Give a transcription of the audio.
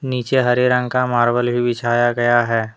नीचे हरे रंग का मार्बल भी बिछाया गया हैं।